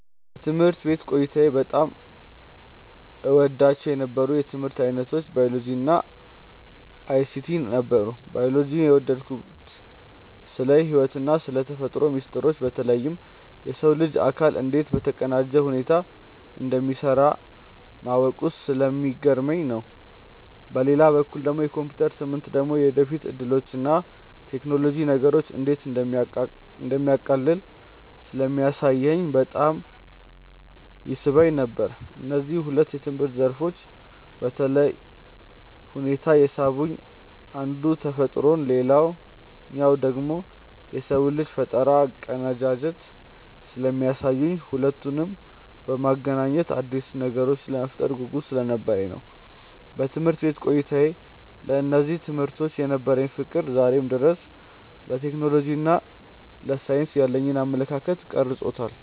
በትምህርት ቤት ቆይታዬ በጣም እወዳቸው የነበሩት የትምህርት ዓይነቶች ባዮሎጂ እና አይሲቲ ነበሩ። ባዮሎጂን የወደድኩት ስለ ሕይወትና ስለ ተፈጥሮ ሚስጥሮች በተለይም የሰው ልጅ አካል እንዴት በተቀናጀ ሁኔታ እንደሚሠራ ማወቁ ስለሚገርመኝ ነው። በሌላ በኩል የኮምፒውተር ትምህርት ደግሞ የወደፊት ዕድሎችንና ቴክኖሎጂ ነገሮችን እንዴት እንደሚያቃልል ስለሚያሳየኝ በጣም ይስበኝ ነበር። እነዚህ ሁለት የትምህርት ዘርፎች በተለየ ሁኔታ የሳቡኝ አንዱ ተፈጥሮን ሌላኛው ደግሞ የሰውን ልጅ ፈጠራ አቀናጅተው ስለሚያሳዩኝና ሁለቱንም በማገናኘት አዳዲስ ነገሮችን የመፍጠር ጉጉት ስለነበረኝ ነው። በትምህርት ቤት ቆይታዬ ለእነዚህ ትምህርቶች የነበረኝ ፍቅር ዛሬም ድረስ ለቴክኖሎጂና ለሳይንስ ያለኝን አመለካከት ቀርጾታል።